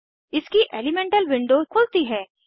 इसकी elemental window खुलती है